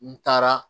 N taara